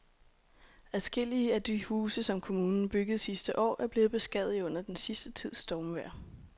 Adskillige af de huse, som kommunen byggede sidste år, er blevet beskadiget under den sidste tids stormvejr.